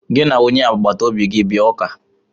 Gị na onye agbata obi gị bịa ụka!